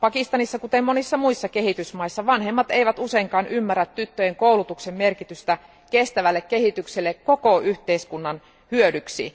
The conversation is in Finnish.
Pakistanissa, kuten monissa muissa kehitysmaissa, vanhemmat eivät useinkaan ymmärrä tyttöjen koulutuksen merkitystä kestävälle kehitykselle koko yhteiskunnan hyödyksi.